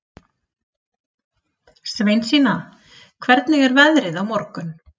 Sveinsína, hvernig er veðrið á morgun?